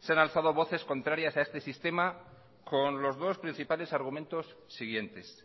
se han alzado voces contrarias a este sistema con los dos principales argumentos siguientes